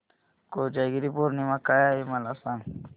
कोजागिरी पौर्णिमा काय आहे मला सांग